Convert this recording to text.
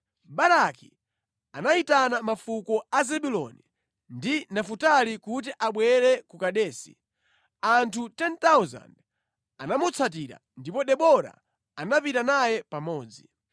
Baraki anayitana mafuko a Zebuloni ndi Nafutali kuti abwere ku Kedesi. Anthu 10,000 anamutsatira, ndipo Debora anapita naye pamodzi.